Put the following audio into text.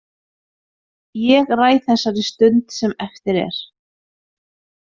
Ég ræð þessari stund sem eftir er.